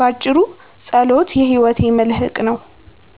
ባጭሩ፣ ጸሎት የሕይወቴ መልሕቅ ነው።